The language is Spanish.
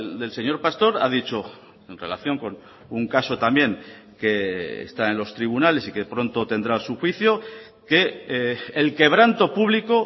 del señor pastor ha dicho en relación con un caso también que está en los tribunales y que pronto tendrá su juicio que el quebranto público